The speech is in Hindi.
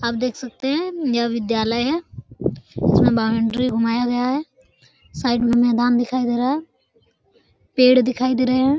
आप ख सकते है यह विद्यालय है जिसमे बाउंड्री घुमाया गया है साइड में मैदान दिखाई दे रहा है पेड़ दिखाई दे रहे है।